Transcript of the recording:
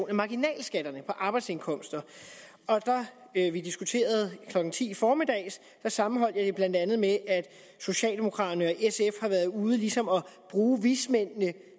af marginalskatterne på arbejdsindkomster da vi diskuterede det klokken ti i formiddags sammenholdt jeg det blandt andet med at socialdemokraterne og sf har været ude ligesom at bruge vismændene